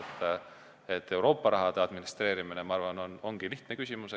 Ma arvan, et Euroopa rahade administreerimine on lihtne küsimus.